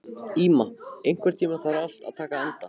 Íma, einhvern tímann þarf allt að taka enda.